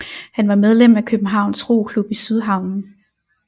Han var medlem af Københavns Roklub i Sydhavnen